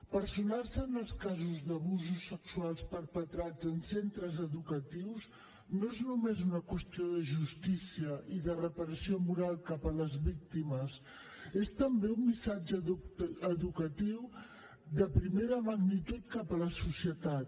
personar se en els casos d’abusos sexuals perpetrats en centres educatius no és només una qüestió de justícia i de reparació moral cap a les víctimes és també un missatge educatiu de primera magnitud cap a la societat